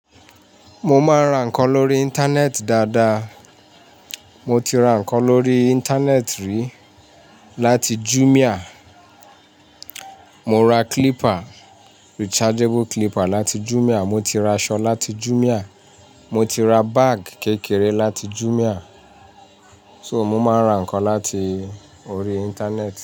Mo máa ń ra nǹkan lórí Íńtánẹ́ẹ̀tì dáadáa. Mo ti ra nǹkan lórí Íńtánẹ́ẹ̀tì rí. Láti Jumia, mo ra clipper, rechargeable clipper láti Jumia, mo ti ra aṣọ láti Jumia, mo ti ra báàgì kékeré láti Jumia. So, mo máa ń ra nǹkan láti orí Íńtánẹ́ẹ̀tì.